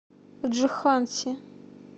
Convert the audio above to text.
джханси